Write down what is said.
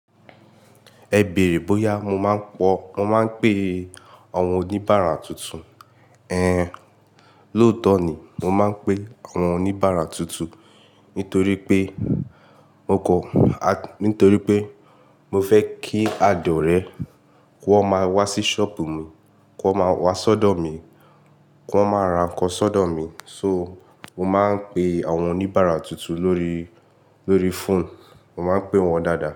Ẹ bèrè bóyá mo máa ń pọ̀, mo máa ń pe àwọn oníbàárà tuntun. Éhén, lóòótọ́ ni mo máa ń pe àwọn oníbàárà tuntun nítorí pé mo kọ́, a, nítorí pé mo fẹ́ kí àdọ rẹ kó máa wá sí ṣọ́ọ̀bù mi, kó máa wá sọ́dọ̀ mi, kó máa ra nǹkan sọ́dọ̀ mi. So, mo máa ń pe àwọn oníbàárà tuntun lórí, lórí fóònù, mo máa ń pè wọ́n dáadáa.